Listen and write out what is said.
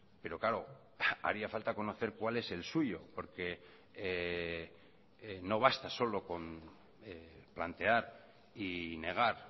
pero claro haría falta conocer cuál es el suyo porque no basta solo con plantear y negar